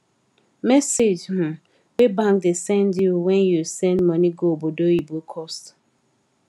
message um wey bank da send you when you send money go obodoyibo cost